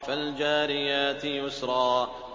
فَالْجَارِيَاتِ يُسْرًا